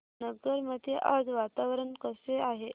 नगर मध्ये आज वातावरण कसे आहे